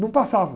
Não passava.